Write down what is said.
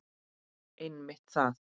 Einmitt það!